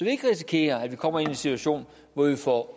ikke risikerer at vi kommer i en situation hvor vi får